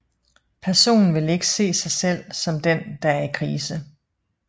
Personen vil ikke se sig selv som den der er i krise